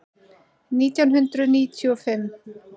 Nítján hundruð níutíu og fimm